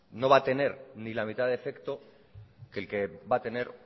no va a tener ni la mitad de efecto que el que va a tener